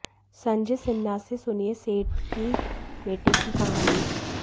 संजय सिन्हा से सुनिए सेठ के बेटे की कहानी